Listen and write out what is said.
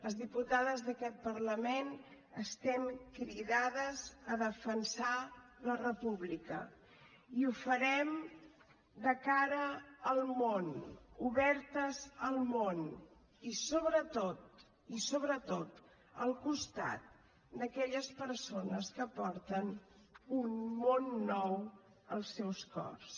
les diputades d’aquest parlament estem cridades a defensar la república i ho farem de cara al món obertes al món i sobretot i sobretot al costat d’aquelles persones que porten un món nou als seus cors